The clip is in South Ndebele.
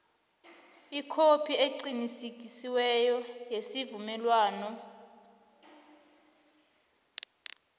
ikhophi eqinisekisiweko yesivumelwano